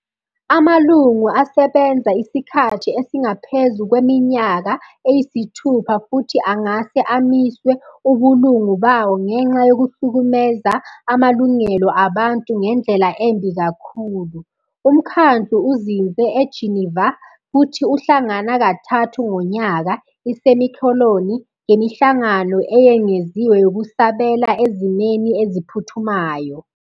Amalungu asebenza isikhathi esingaphezu kweminyaka eyisithupha futhi angase amiswe ubulungu bawo ngenxa yokuhlukumeza amalungelo abantu ngendlela embi kakhulu. Umkhandlu uzinze eGeneva, futhi uhlangana kathathu ngonyaka, ngemihlangano eyengeziwe yokusabela ezimeni eziphuthumayo.